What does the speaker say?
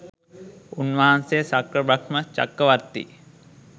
උන්වහන්සේ ශක්‍ර බ්‍රහ්ම චක්‍රවර්තී